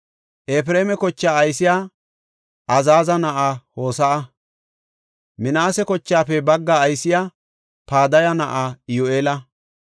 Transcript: Efreema kochaa aysey Azaaza na7aa Hose7a. Minaase kochaafe baggaa aysey Padaya na7aa Iyyu7eela.